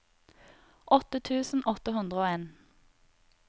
åtte tusen åtte hundre og en